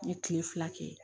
N ye kile fila kɛ